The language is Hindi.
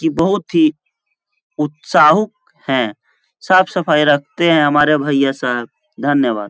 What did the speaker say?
कि बहुत ही उत्साहुक है। साफ सफाई रखते है हमारे भैया साहब। धन्यवाद!